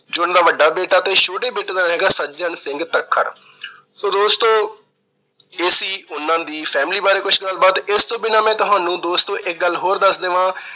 ਜੋ ਉਹਨਾਂ ਦਾ ਵੱਡਾ ਬੇਟਾ ਤੇ ਛੋਟੇ ਬੇਟੇ ਦਾ ਹੈਗਾ- ਸੱਜਣ ਸਿੰਘ ਤੱਖਰ। so ਦੋਸਤੋ, ਇਹ ਸੀ ਉਹਨਾਂ ਦੀ family ਬਾਰੇ ਕੁਛ ਗੱਲਬਾਤ। ਇਸ ਤੋਂ ਬਿਨਾਂ ਮੈਂ ਤੁਹਾਨੂੰ ਦੋਸਤੋ ਇੱਕ ਗੱਲ ਹੋਰ ਦੱਸ ਦੇਵਾਂ